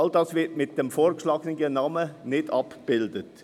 All dies wird mit dem vorgeschlagenen Namen nicht abgebildet.